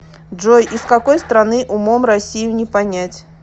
джой из какой страны умом россию не понять